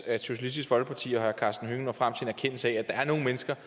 at socialistisk folkeparti og herre karsten hønge når frem til en erkendelse af at der er nogle mennesker